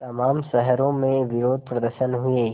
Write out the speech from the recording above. तमाम शहरों में विरोधप्रदर्शन हुए